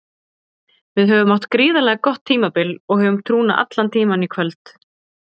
Við höfum átt gríðarlega gott tímabil og höfðum trúna allan tímann í kvöld.